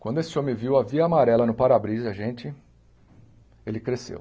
Quando esse homem viu a Via Amarela no Parabrisa, gente, ele cresceu.